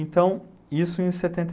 Então, e isso em setenta